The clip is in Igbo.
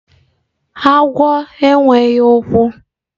agwo enweghi ukwu.